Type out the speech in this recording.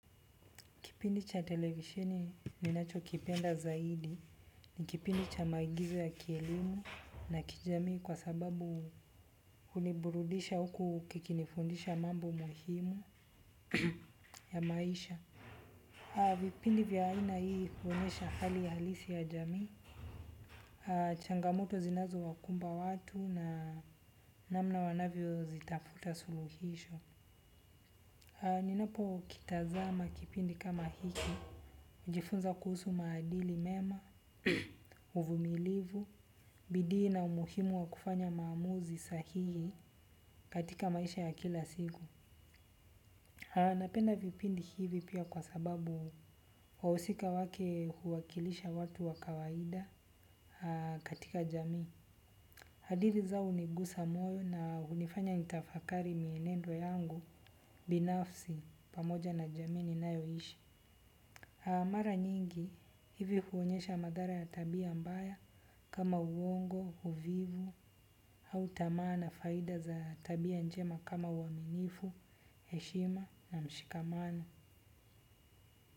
Kipindi cha televisheni ninacho kipenda zaidi. Ni kipindi cha maagizo ya kielimu na kijamii kwa sababu huniburudisha huku kikinifundisha mambo muhimu ya maisha. Vipindi vya aina hii huonesha hali halisi ya jamii. Changamoto zinzao wakumba watu na namna wanavyo zitafuta suluhisho. Ninapo kitazama kipindi kama hiki. Ujifunza kuhusu maadili mema, uvumilivu, bidii na umuhimu wa kufanya maamuzi sahihi katika maisha ya kila siku. Napenda vipindi hivi pia kwa sababu wahusika wake huwakilisha watu wa kawaida katika jamii. Hadithi zao huniguza moyo na hunifanya nitafakari mienendo yangu binafsi pamoja na jamii ninayo ishi. Mara nyingi hivi huonyesha madhara ya tabia mbaya kama uongo, uvivu au tamaa na faida za tabia njema kama uaminifu, heshima na mshikamano.